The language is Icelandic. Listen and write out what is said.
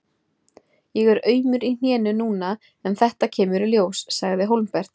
Ég er aumur í hnénu núna en þetta kemur í ljós, sagði Hólmbert.